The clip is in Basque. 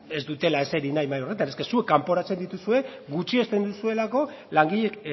ez dutela eseri nahi mahai horretan es que zuek kanporatzen dituzue gutxiesten duzuelako langileek